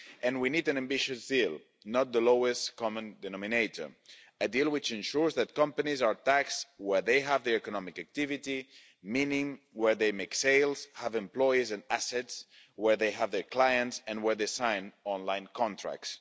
We need an ambitious deal, not the lowest common denominator a deal which ensures that companies are taxed where they have the economic activity, meaning where they make sales, have employees and assets, where they have their clients and where they sign online contracts.